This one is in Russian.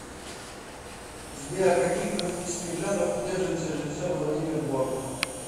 сбер каких политических взглядов придерживается режисер владимир бортко